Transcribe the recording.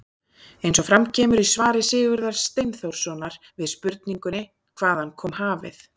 Eins og fram kemur í svari Sigurðar Steinþórssonar við spurningunni Hvaðan kom hafið?